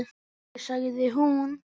Afi, sagði hún.